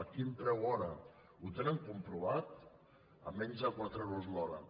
a quin preu hora ho tenen comprovat a menys de quatre euros l’hora